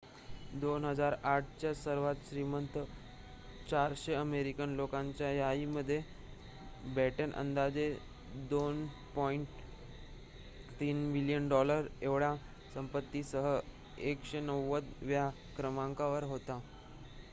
२००८ च्या सर्वांत श्रीमंत ४०० अमेरिकन लोकांच्या यादीमध्ये बॅटन अंदाजे $२.३ बिलियन एवढ्या संपत्तीसह १९० व्या क्रमांकावर होता